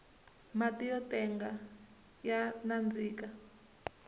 mati yo tenga ya nandzika